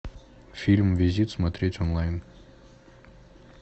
фильм визит смотреть онлайн